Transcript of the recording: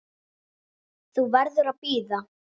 Þú verður að bíða.